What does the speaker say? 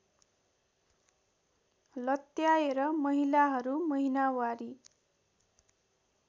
लत्याएर महिलाहरू महिनावारी